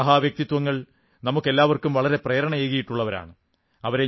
ഈ മഹാവ്യക്തിത്വങ്ങൾ നമുക്കെല്ലാം വളരെ പ്രേരണയേകിയിട്ടുള്ളവരാണ്